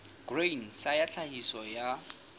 grain sa ya tlhahiso ya